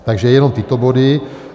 Takže jenom tyto body.